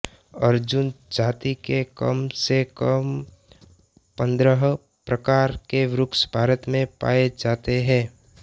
अर्जुन जाति के कम से कम पन्द्रह प्रकार के वृक्ष भारत में पाए जाते हैं